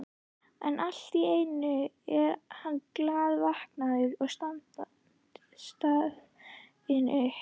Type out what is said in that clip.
En allt í einu er hann glaðvaknaður og staðinn upp.